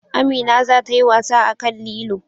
Amina za ta yi wasa akan lilo